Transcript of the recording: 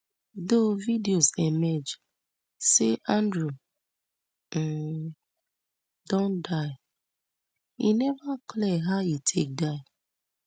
though videos emerge say andrew um don die e neva clear how e take die